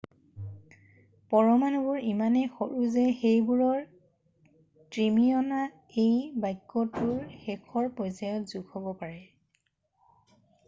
পৰমাণুবোৰ ইমানেই সৰু যে সেইবোৰৰ ট্ৰিলিঅনটা এই বাক্যটোৰ শেষৰ পৰ্যায়ত যোগ হব পাৰে